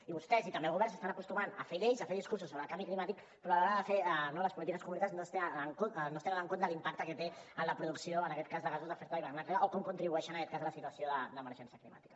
i vostès i també el govern s’estan acostumant a fer lleis a fer discursos sobre el canvi climàtic però a l’hora de fer no les polítiques concretes no es té en compte l’impacte que té la producció en aquest cas de gasos d’efecte d’hivernacle o com contribueix a la situació d’emergència climàtica